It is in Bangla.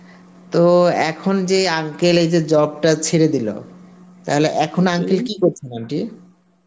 তো এখন যে uncle এই যে job টা ছেড়ে দিল তাহলে এখন uncle কী করছেন aunty?